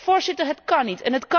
Voorzitter, dat kan niet.